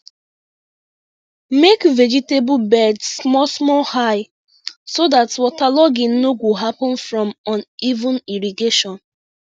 make vegetable beds small small high so dat waterlogging no go happen from uneven irrigation